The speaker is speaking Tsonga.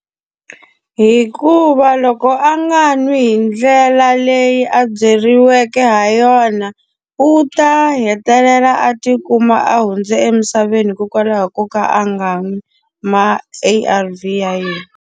Hikuva loko a nga nwi hi ndlela leyi a byeriweke ha yona, u ta hetelela a ti kuma a hundze emisaveni hikokwalaho ko ka a nga n'wi ma-A_R_V ya yena.